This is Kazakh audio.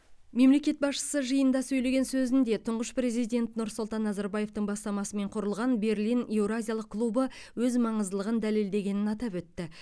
мемлекет басшысы жиында сөйлеген сөзінде тұңғыш президент нұрсұлтан назарбаевтың бастамасымен құрылған берлин еуразиялық клубы өз маңыздылығын дәлелдегенін атап өтті